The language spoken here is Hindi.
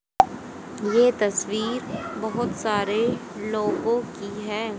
ये तस्वीर बहोत सारे लोगों की हैं।